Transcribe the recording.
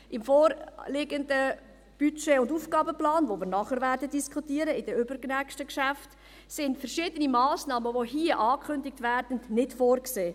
Im vorliegenden Budget- und Aufgabenplan, den wir anschliessend in den übernächsten Geschäften diskutieren werden, sind verschiedene Massnahmen, die hier angekündigt werden, nicht vorgesehen.